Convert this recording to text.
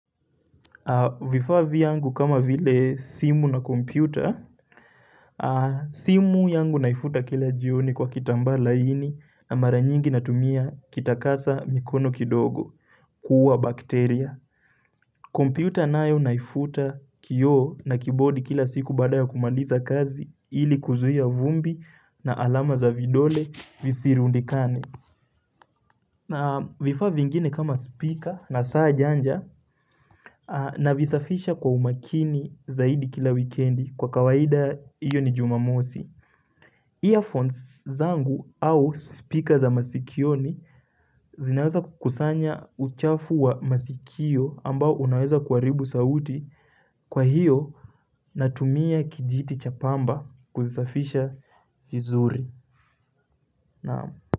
Vifaa vyangu kama vile simu na kompyuta, simu yangu naifuta kila jioni kwa kitambaa laini na mara nyingi natumia kitakasa mikono kidogo, kuuwa bakteria. Kompyuta nayo naifuta kioo na kibodi kila siku baada ya kumaliza kazi ili kuzuia vumbi na alama za vidole visirundikane. Na vifaa vingine kama spika, na saa janja navisafisha kwa umakini zaidi kila wikendi kwa kawaida hiyo ni jumamosi. Earphones zangu au spika za masikioni zinaweza kukusanya uchafu wa masikio ambao unaweza kuharibu sauti, kwa hiyo natumia kijiti cha pamba kuzisafisha vizuri.